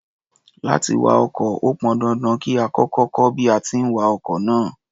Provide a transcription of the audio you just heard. Láti wa ọkọ̀, ó pọn dandan kí a kọ́kọ́ kọ́ bí a ti ń wa ọkọ̀ náà.